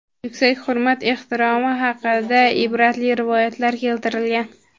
yuksak hurmat-ehtiromi haqida ibratli rivoyatlar keltirilgan.